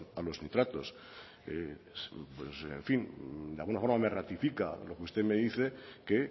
a los nitratos en fin de alguna forma me ratifica lo que usted me dice que